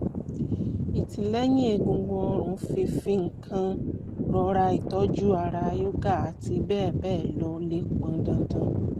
ìtìlẹ́yìn egungun ọrùn fífi nǹkan rọra ìtọ́jú ara yoga àti bẹ́ẹ̀ bẹ́ẹ̀ lọ lè pọn dandan